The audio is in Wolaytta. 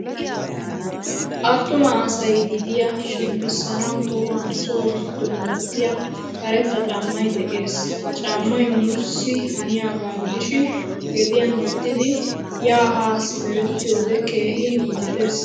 Attuma asay gediyaa shempisanawu tohuwan so giddona wottiyo karetta caamay de'ees. Ha caamay nuusi haniyaaga gidishin gediyan wottidi ya ha simerettiyode keehin injjettees.